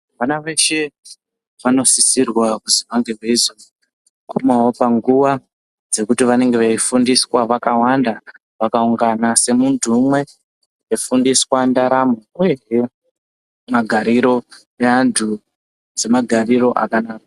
Vana veshe vanosisirwa kuzi vange veizoguma panguwa dzekuti vanenge veifundiswa vakawanda vakaungana semuntu umwe veifundiswa ndaramo uyezve magariro neantu semagariro akanaka